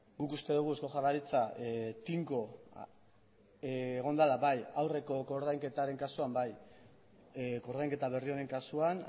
guk uste dugu eusko jaurlaritza tinko egon dela bai aurreko koordainketaren kasuan bai koordainketa berri honen kasuan